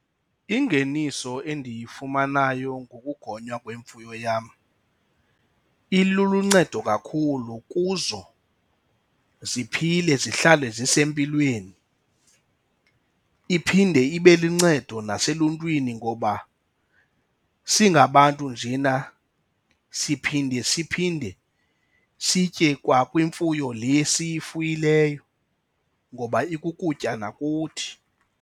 Ingeniso endiyifumanayo ngokugonywa kwemfuyo yam iluncedo kakhulu kuzo ziphile zihlale zisempilweni. Iphinde ibe luncedo naseluntwini ngoba singabantu njena siphinde siphinde sitye kwakwimfuyo le siyifuyileyo ngoba ikukutya nakuthi.